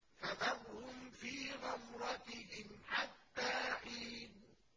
فَذَرْهُمْ فِي غَمْرَتِهِمْ حَتَّىٰ حِينٍ